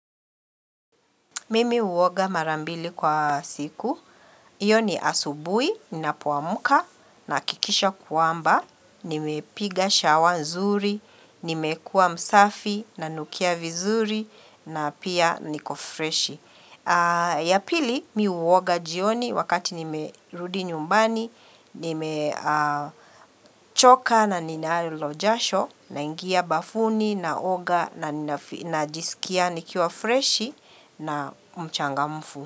Mimi huoga marambili kwa siku, iyo ni asubuhi, ninapuamka, nakikisha kwamba, nimepiga shawa nzuri, nimekua msafi, nanukia vizuri, na pia nikofreshi. Ya pili miu uoga jioni wakati nime rudi nyumbani, nimechoka na ninalo jasho, na ingia bafuni, naoga, na ninajisikia nikiwa freshi na mchangafu.